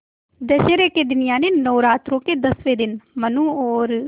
दशहरा के दिन यानि नौरात्रों के दसवें दिन मनु और